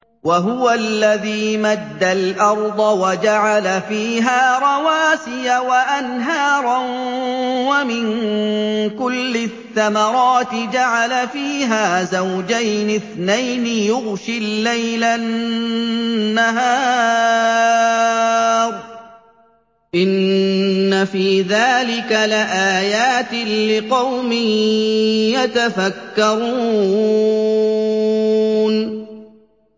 وَهُوَ الَّذِي مَدَّ الْأَرْضَ وَجَعَلَ فِيهَا رَوَاسِيَ وَأَنْهَارًا ۖ وَمِن كُلِّ الثَّمَرَاتِ جَعَلَ فِيهَا زَوْجَيْنِ اثْنَيْنِ ۖ يُغْشِي اللَّيْلَ النَّهَارَ ۚ إِنَّ فِي ذَٰلِكَ لَآيَاتٍ لِّقَوْمٍ يَتَفَكَّرُونَ